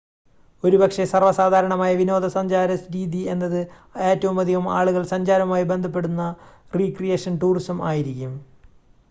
ഒരുപക്ഷേ സർവ്വസാധാരണമായ വിനോദസഞ്ചാര രീതി എന്നത് ഏറ്റവുമധികം ആളുകൾ സഞ്ചാരവുമായി ബന്ധപ്പെടുന്ന റിക്രിയേഷൻ ടൂറിസം ആയിരിക്കും